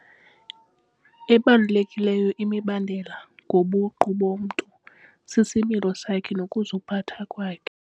Ebalulekileyo imibandela ngobuqu bomntu sisimilo sakhe nokuziphatha kwakhe.